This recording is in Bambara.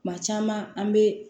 Kuma caman an bɛ